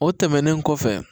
O tɛmɛnen kɔfɛ